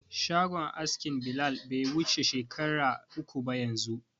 Shagon askin Bilal bai wuce shekara uku ba yanzu.